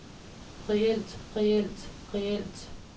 reelt reelt reelt